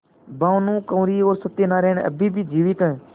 भानुकुँवरि और सत्य नारायण अब भी जीवित हैं